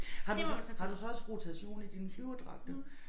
Har du så har du så også rotation i dine flyverdragter?